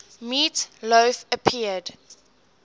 meat loaf appeared